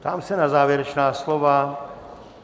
Ptám se na závěrečná slova.